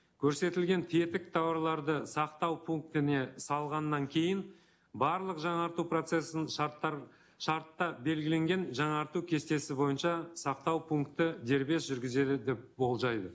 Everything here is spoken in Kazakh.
көрсетілген тетік тауарларды сақтау пунктіне салғаннан кейін барлық жаңарту процессін шартта белгіленген жаңарту кестесі бойынша сақтау пункті дербес жүргізеді деп болжайды